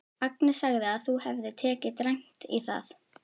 Agnes sagði að þú hefðir tekið dræmt í það.